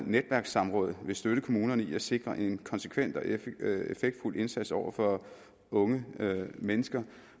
netværkssamråd vil støtte kommunerne i at sikre en konsekvent og effektfuld indsats over for unge mennesker